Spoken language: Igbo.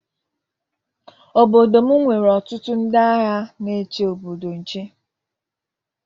Obodo m nwere ọtụtụ ndị agha na-eche obodo nche.